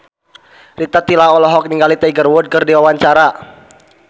Rita Tila olohok ningali Tiger Wood keur diwawancara